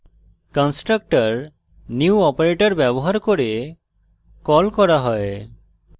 constructor new operator ব্যবহার করে call করা হয়